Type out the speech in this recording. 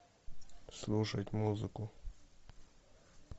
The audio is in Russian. слушать музыку